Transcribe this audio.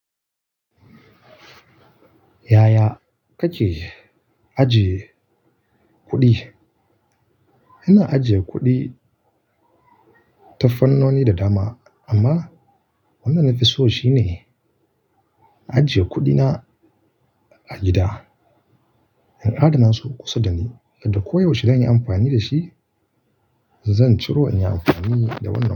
Yaya kake ajiye kuɗi? Ina ajiye kuɗi tafarnoni da dama amma wannan nafi so shine ajiye kuɗi na a gida, in adana su kusa da ni yadda koyaushe zan yi amfani da shi. Zan ciro in yi amfani da wannan kuɗi.